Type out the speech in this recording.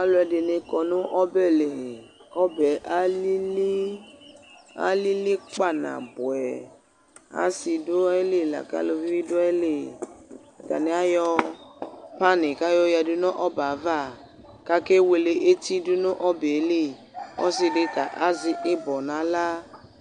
Alʋ ɛdɩnɩ kɔ nʋ ɔbɛ li, kʋ ɔbɛ yɛ alili, alili kpa nabʋɛ Asi dʋ ayʋ ili lakʋ elivi du ayʋ ili Atani ayɔ panɩ kʋ ayoyadu nʋ ɔbɛ ava, kʋ akewele eti du nʋ ɔbɛ yɛ li, kʋ ɔsi dɩ ta azɛ ɩbɔ nʋ aɣla,